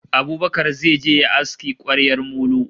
Abubakar zai je yayi aski kwaryar molo